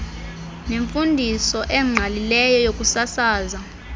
nemfundiso engqalileyo yokusasaza